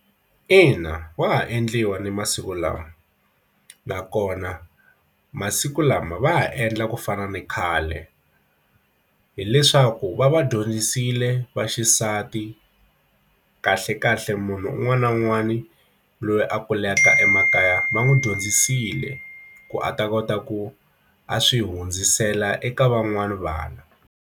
Ina wa ha endliwa ni masiku lawa nakona masiku lama va ha endla ku fana na khale hileswaku va va dyondzisile va xisati a ti kahle kahle munhu un'wana na un'wana loyi a kulaka emakaya va n'wi dyondzisile ku a ta kota ku a swi hundzisela eka van'wani vana.